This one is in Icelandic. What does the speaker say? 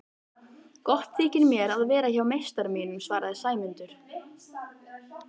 Gott þykir mér að vera hjá meistara mínum svaraði Sæmundur.